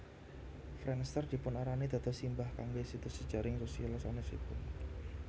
Friendster dipunarani dados simbah kangge situs jejaring sosial sanesipun